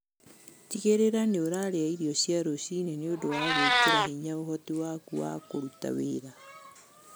Tigĩrĩra nĩũraria irio cia rũcinĩ nĩũndũ wa gwĩkĩra hinya ũhoti waku wa kũruta wĩra.